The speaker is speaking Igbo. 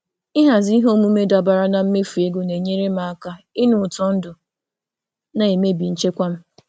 Ịhazi ihe omume dabara na mmefu ego na-enyere m aka m aka ịnụ ụtọ ndụ na-emebi nchekwa m.